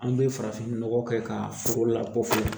An bɛ farafinnɔgɔ kɛ ka foro lakofoyɛ